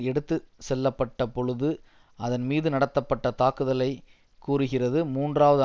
எடுத்து செல்லப்பட்ட பொழுது அதன் மீது நடத்தப்பட்ட தாக்குதலை கூறுகிறது மூன்றாவது